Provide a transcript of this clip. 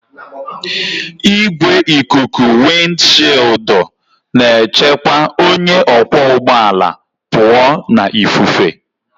Igwe ikuku wịndshịịụldụ na-echekwa onye ọkwọ ụgbọ ala pụọ na ifufe